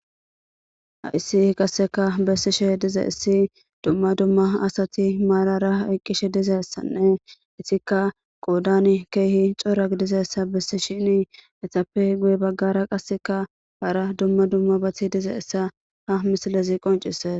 Hayssi qassikka bettishe diza issi dumma dumma asati maarara eqqishe dizasanne, etikka qoodani keehi coratidizasa bettisheeni. Izappe guyye bagaara qassikka hara dumma dumma beetiza asa ha misilezi qonccisees.